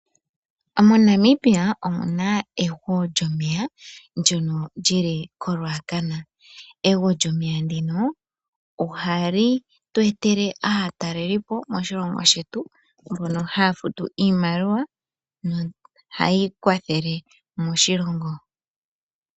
MoNamibia omuna ego lyomeya ndjono lyili koRuacana. Ego lyomeya ndino ohali tu etele aatalelipo moshilongo shetu mbono haya futu iimaliwa nohayi kwathele moshilongo.